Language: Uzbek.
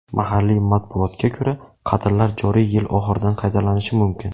Mahalliy matbuotga ko‘ra, qatllar joriy yil oxiridan qaytalanishi mumkin.